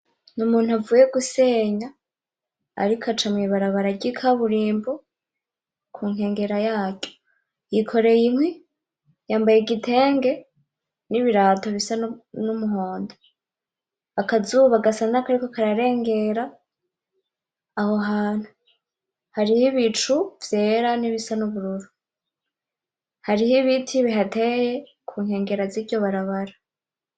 N'umuntu avuye gusenya arik' aca mw'ibarabara ry'ikaburimbo kunkengera yaryo, yikoreye inkwi; yambaye igitenge; n'ibirato bisa n'umuhondo, akazuba gasa nakariko kararengera aho hantu, hariho ibicu vyera; n'ibisa n'ubururu, harih' ibiti bihateye kunkengera ziryo barabara.